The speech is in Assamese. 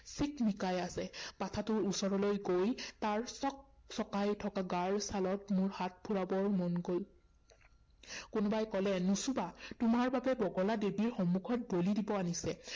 চিকমিকাই আছে। পাঠাটোৰ ওচৰলৈ গৈ তাৰ চকচকাই থকা গাৰ ছালত মোৰ হাত ফুৰাবৰ মন গল। কোনোবাই কলে নচুবা, তোমাৰ বাবে বগলা দেৱীৰ সন্মুখত বলি দিব আনিছে